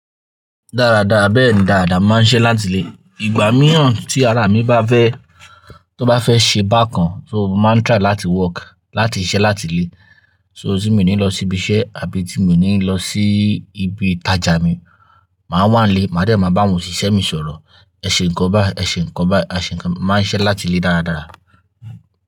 Dáradára, bẹ́ẹ̀ ni, dàda, mo màá ń ṣẹ́ láti ilé. Ìgbà mìíràn tí ara mi bá fẹ́, tó bá fẹ́ ṣe bákan, tó máa ń try láti work, láti ṣẹ́ láti lé. So tí mo ní lọ síbi iṣẹ́ àbí tí mo ní lọ sí ibi ìtajà mi, màá wà ni ilé, màá dé máa bá òṣìṣẹ́ mi sọ̀rọ̀. Ẹ ṣe ǹkan bá, ẹ̀ ṣe ǹkan bá, a ṣe ǹkan. Màá ń ṣẹ́ láti lé dáradára.